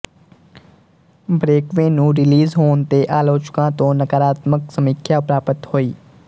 ਬਰੇਕਵੇ ਨੂੰ ਰਿਲੀਜ਼ ਹੋਣ ਤੇ ਆਲੋਚਕਾਂ ਤੋਂ ਨਕਾਰਾਤਮਕ ਸਮੀਖਿਆ ਪ੍ਰਾਪਤ ਹੋਈ